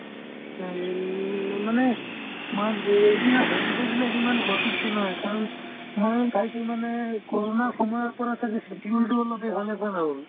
এই মানে march যে এতিয়া holiday বিলাক ইমান সঠিকে নাই কাৰণ ময়ো চাইছো মানে ক'ৰণাৰ সময়ৰ পৰা ছাগে schedule তো অলপ সেইফালে গ'ল আৰু